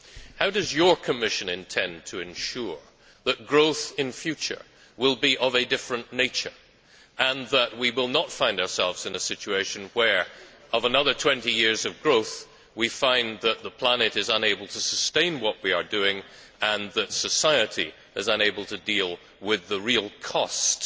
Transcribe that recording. How does your Commission intend to ensure that growth in future will be of a different nature and that we will not find ourselves in a situation where, after another 20 years of growth, we have a planet unable to sustain what we are doing and a society unable to afford the real costs